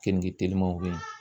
Keninge telimanw be ye